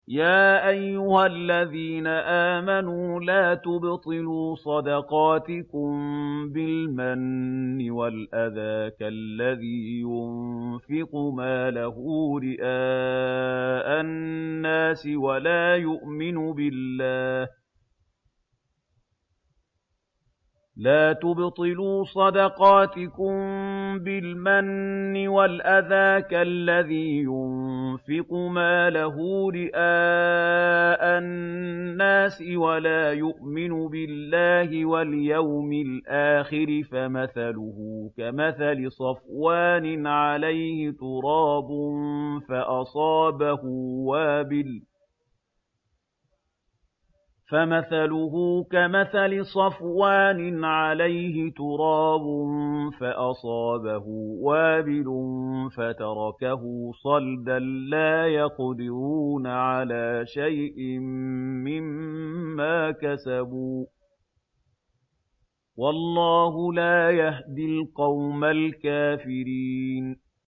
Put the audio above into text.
يَا أَيُّهَا الَّذِينَ آمَنُوا لَا تُبْطِلُوا صَدَقَاتِكُم بِالْمَنِّ وَالْأَذَىٰ كَالَّذِي يُنفِقُ مَالَهُ رِئَاءَ النَّاسِ وَلَا يُؤْمِنُ بِاللَّهِ وَالْيَوْمِ الْآخِرِ ۖ فَمَثَلُهُ كَمَثَلِ صَفْوَانٍ عَلَيْهِ تُرَابٌ فَأَصَابَهُ وَابِلٌ فَتَرَكَهُ صَلْدًا ۖ لَّا يَقْدِرُونَ عَلَىٰ شَيْءٍ مِّمَّا كَسَبُوا ۗ وَاللَّهُ لَا يَهْدِي الْقَوْمَ الْكَافِرِينَ